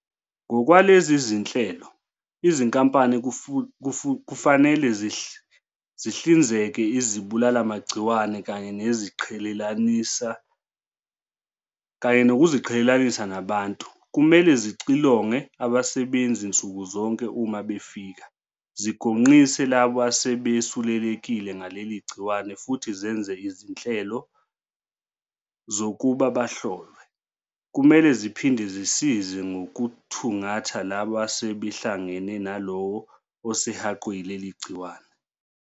Ngokwalezi zinhlelo, izinkampani kufanele zihlinzeke izibulalimagciwane kanye nokuziqhelelanisa nabantu, kumele zixilonge abasebenzi nsuku zonke uma befika, zigonqise labo asebesulelekile ngaleli gciwane futhi zenze izinhlelo zokuba bahlolwe. "Kumele ziphinde zisize ngokuthungatha labo asebehlangane nalowo osehaqwe yileli gciwane."